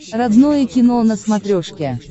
родное кино на смотрешке